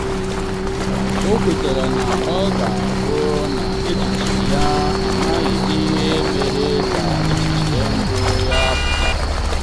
o kwetara na ọ ga-abụ na echiche ya amaghị ihe mere ka echiche mbụ ya pụta.